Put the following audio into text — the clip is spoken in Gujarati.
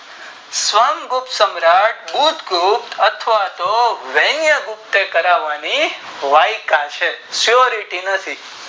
સવાઁગ ગુપ્તસમાર્ટ ગુપ્ત અથવા તો વેણેય ગુપ્ત કરવાની વાટકા છે સોરર નીતિ નોતી